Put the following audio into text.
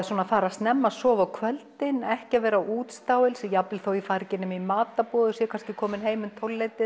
fara snemma að sofa á kvöldin ekki vera á útstáelsi jafnvel þótt ég fari ekki nema í matarboð og sé komin heim um